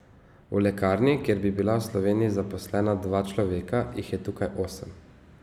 V lekarni, kjer bi bila v Sloveniji zaposlena dva človeka, jih je tukaj osem.